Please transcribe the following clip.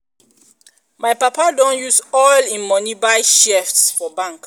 my papa don use all im moni buy share for bank.